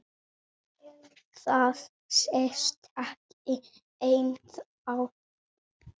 Það sést ekki ennþá.